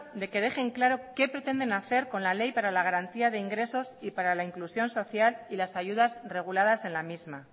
de que dejen claro qué pretenden hacer con la ley para la garantía de ingresos y para la inclusión social y las ayudas reguladas en la misma